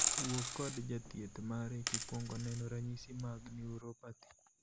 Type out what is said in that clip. Wuo kod jathieth mari kikuongo neno ranyisi mag 'neuropathy'.